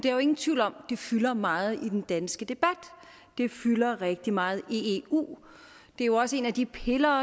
er jo ingen tvivl om at det fylder meget i den danske debat det fylder rigtig meget i eu det er jo også en af de piller